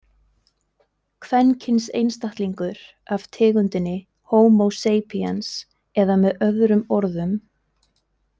„kvenkyns einstaklingur af tegundinni Homo sapiens“ eða með öðrum orðum.